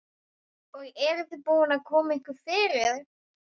Og eruð þið búin að koma ykkur fyrir?